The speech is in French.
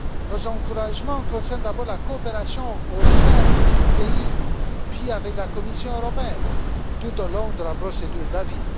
Nos encouragements concernent d'abord la coopération au sein du pays, puis avec la Commission européenne, tout au long de la procédure d'avis.